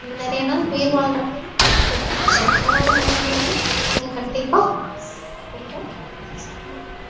இன்னும் நிறைய நாள் உயிர் வாழ்ற மாதிரி இருக்கும் so அந்த காலத்து உணவு முறைகளை நீங்க கண்டிப்பா சாப்பிடணும்